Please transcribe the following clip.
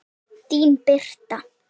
Þín Birta.